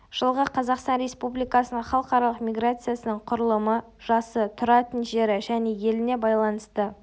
жылғы қазақстан республикасының халықаралық миграциясының құрылымы жасы тұратын жері және еліне байланысты